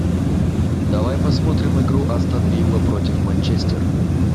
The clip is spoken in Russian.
давай посмотрим игру астон вилла против манчестер